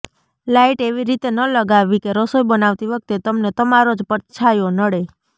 light એવી રીતે ન લગાવવી કે રસોઈ બનાવતી વખતે તમને તમારો જ પડછાયો નડે